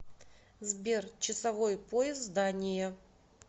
сбер часовой пояс дания